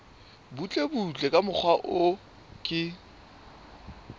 butlebutle ka mokgwa o ke